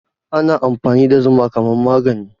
Ana amfani da zuma kamar magani